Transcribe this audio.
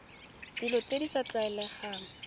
dilo tse di sa tlwaelegang